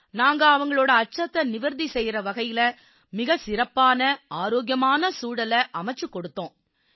நாங்க அவங்களோட அச்சத்தை நிவர்த்தி செய்யும் வகையில மிகச் சிறப்பான ஆரோக்கியமான சூழலை அமைச்சுக் கொடுத்தோம்